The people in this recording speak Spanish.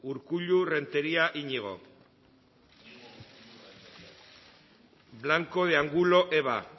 urkullu renteria iñigo blanco de angulo eva